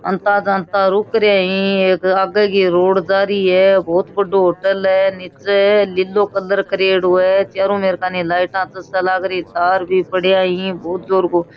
आता जानता रुक रैही एक आगे की रोड जारी है बोहोत बड़ो होटल है निचे नीलो कलर करेडो है चारो मेर कानि लाइटा चसन लाग रही तार भी पड़ेया ही बोहोत जोर को --